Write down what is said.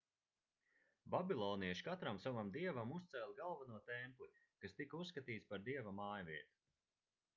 babilonieši katram savam dievam uzcēla galveno templi kas tika uzskatīts par dieva mājvietu